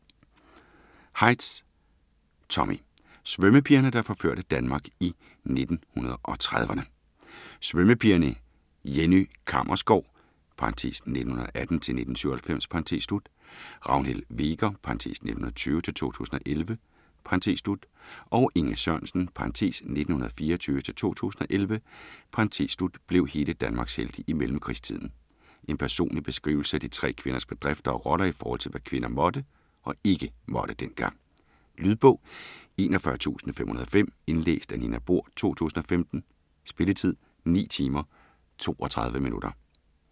Heisz, Tommy: Svømmepigerne der forførte Danmark i 1930'erne Svømmepigerne Jenny Kammersgaard (1918-1997), Ragnhild Hveger (1920-2011) og Inge Sørensen (1924-2011) blev hele Danmarks helte i mellemkrigstiden. En personlig beskrivelse af de tre kvinders bedrifter og roller i forhold til hvad kvinder måtte og ikke måtte dengang. Lydbog 41505 Indlæst af Nina Bohr, 2015. Spilletid: 9 timer, 32 minutter.